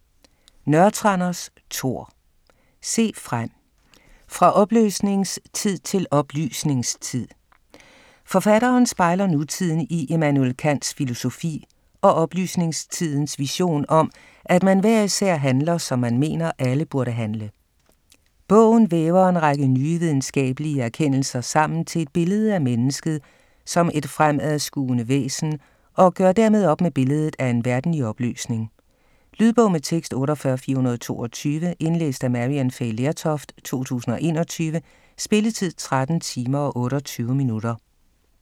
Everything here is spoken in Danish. Nørretranders, Tor: Se frem: fra opløsningstid til oplysningstid Forfatteren spejler nutiden i Immanuel Kants filosofi og oplysningstidens vision om, at man hver især handler, som man mener, alle burde handle. Bogen væver en række nye videnskabelige erkendelser sammen til et billede af mennesket som et fremadskuende væsen og gør dermed op med billedet af en verden i opløsning. Lydbog med tekst 48422 Indlæst af Maryann Fay Lertoft, 2021. Spilletid: 13 timer, 28 minutter.